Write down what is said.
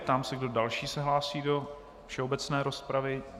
Ptám se, kdo další se hlásí do obecné rozpravy.